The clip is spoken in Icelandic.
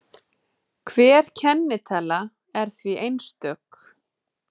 Hver kennitala er því einstök.